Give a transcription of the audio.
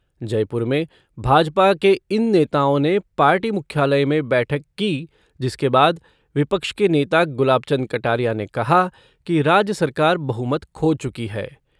जयपुर में भाजपा के इन नेताओं ने पार्टी मुख्यालय में बैठक की जिसके बाद विपक्ष के नेता गुलाबचंद कटारिया ने कहा कि राज्य सरकार बहुमत खो चुकी है।